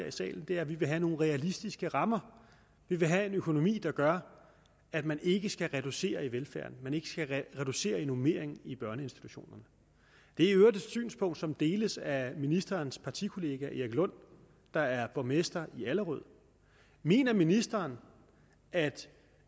i salen er at vi vil have nogle realistiske rammer vi vil have en økonomi der gør at man ikke skal reducere velfærden man ikke skal reducere normeringen i børneinstitutionerne det er i øvrigt et synspunkt som deles af ministerens partikollega erik lund der er borgmester i allerød mener ministeren at